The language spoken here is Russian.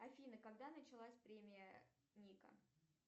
афина когда началась премия ника